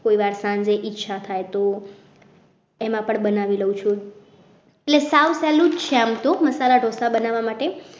કોઈ વાર જો ઈચ્છા થાય તો એમાં પણ બનાવી લઉં છું એટલે સાવ સહેલું છે આમ તો મસાલા ઢોસા બનાવવા માટે